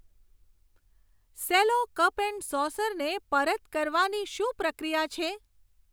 Cello cup and સોસરને પરત કરવાની શું પ્રક્રિયા છે?